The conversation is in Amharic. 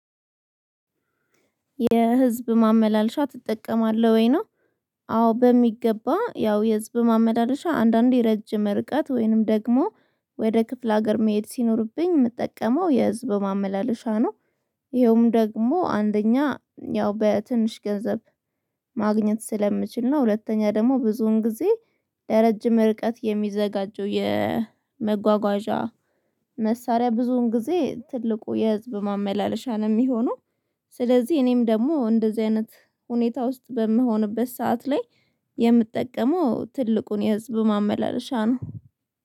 የህዝብ ማመላለሻ ትጠቀማለህ ወይ ነው አዎ በሚገባ ያው የህዝብ ማመላለሻ አንዳንዴ ረጅም ርቀት ወይንም ደግሞ ወደ ክፍለ ሀገር መሄድ ሲኖርብኝ የምጠቀመው የህዝብ ማመላለሻ ነው። ይሄውም ደግሞ አንደኛ ያው በትንሽ ገንዘብ ማግኘት ስለምችል ነው ሁለተኛ ደግሞ ብዙውን ጊዜ ለረጅም ርቀት የሚዘጋጀው የመጓጓዣ መሳሪያ ብዙውን ጊዜ ትልቁ የህዝብ ማመላለሻ ነው የሚሆነው ስለዚህ እኔም ደግሞ እንደዚህ አይነት ሁኔታ ውስጥ በምሆንበት ሰዓት ላይ የምጠቀመው ትልቁን የህዝብ ማመላለሻ ነው።